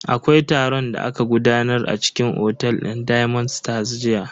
Akwai taron da aka gudanar a cikin otel din diamond stars jiya.